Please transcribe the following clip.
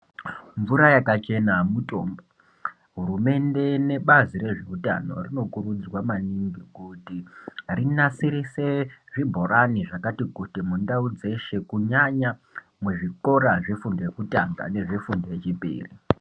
Mvura yakachena mutombo hurumende nebazi rezveutano zvinokurudzirwa maningi kuti rinasirise zvibhorani zvakati kuti mundau dzeshe kunyanya kuzvikora zvefundo yekutanga nezvefundo yechipiri .